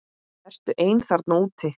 Ertu einn þarna úti?